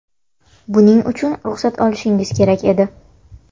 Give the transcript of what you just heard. Buning uchun ruxsat olishingiz kerak edi.